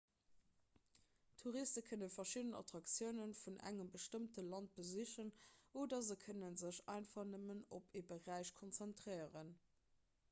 touriste kënne verschidden attraktioune vun engem bestëmmte land besichen oder se kënne sech einfach nëmmen op ee beräich konzentréieren